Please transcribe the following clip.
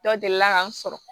Dɔ deli ka n sɔrɔ